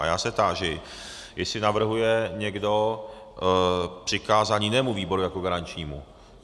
A já se táži, jestli navrhuje někdo přikázání jinému výboru jako garančnímu.